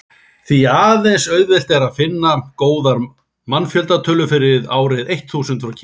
því er aðeins auðvelt að finna góðar mannfjöldatölur fyrir árið eitt þúsund frá kína